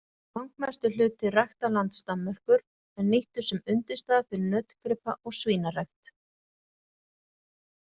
Langmestur hluti ræktarlands Danmerkur er nýttur sem undirstaða fyrir nautgripa- og svínarækt.